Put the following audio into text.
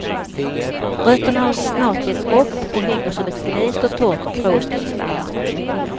Rötterna har snart gett upp och hänger som ett glest och torrt krås kring stammarna.